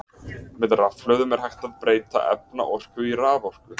Með rafhlöðum er hægt að breyta efnaorku í raforku.